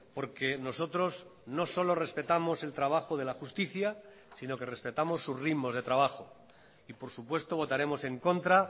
porque nosotros no solo respetamos el trabajo de la justicia sino que respetamos sus ritmos de trabajo y por supuesto votaremos en contra